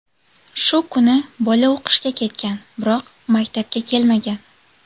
Shu kuni bola o‘qishga ketgan, biroq maktabga kelmagan.